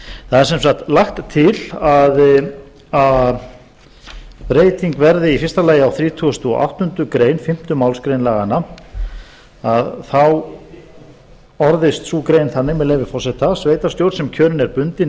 það er sem sagt lagt til að breyting verði í fyrsta lagi á þrítugasta og áttundu greinar fimmtu málsgrein laganna þá orðist sú grein þannig með leyfi forseta sveitarstjórn sem kjörin er bundinni